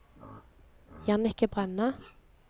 Jannicke Brenna